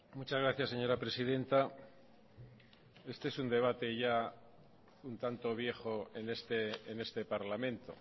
muchas gracias señora presidenta este es un debate ya un tanto viejo en este parlamento